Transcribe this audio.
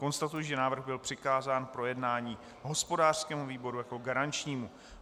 Konstatuji, že návrh byl přikázán k projednání hospodářskému výboru jako garančnímu.